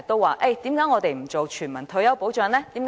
為何不落實全民退休保障呢？